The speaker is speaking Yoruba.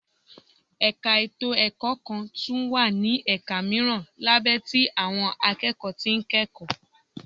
Ẹ̀ka ètò ẹ̀kọ́ kọọ́ tún wá ní ẹ̀ka mìíràn lábẹ́ tí àwọn akẹ́kọ̀ọ́ tí ń kẹ́kọ̀ọ́